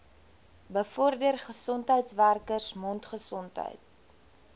bevorder gesondheidswerkers mondgesondheid